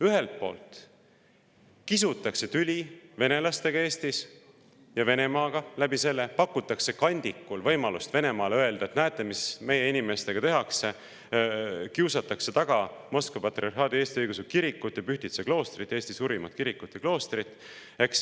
Ühelt poolt kisutakse üles tüli venelastega Eestis ja sedakaudu ka Venemaaga, kandikul pakutakse Venemaale võimalust öelda, et näete, mis meie inimestega tehakse, kiusatakse taga Moskva Patriarhaadi Eesti Õigeusu Kirikut ja Pühtitsa kloostrit, Eesti suurimat kirikut ja kloostrit.